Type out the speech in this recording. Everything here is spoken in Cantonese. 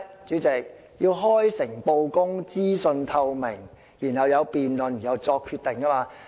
主席，就是開誠布公、資訊透明，然後大家進行辯論後作出決定。